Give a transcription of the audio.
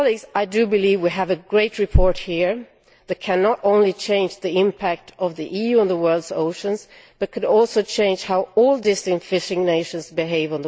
I believe we have a great report here that can not only change the impact of the EU on the world's oceans, but could also change how all distance fishing nations behave.